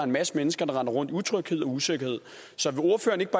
masse mennesker der render rundt af utryghed og usikkerhed